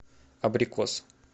абрикос